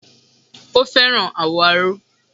O fẹ́ràn àwọ̀ aró.